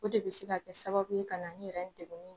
O de bɛ se ka kɛ sababu ye ka na ni .